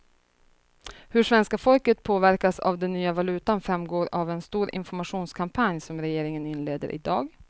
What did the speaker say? Hur svenska folket påverkas av den nya valutan framgår av en stor informationskampanj som regeringen inleder i dag.